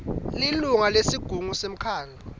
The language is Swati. lilunga lesigungu semkhandlu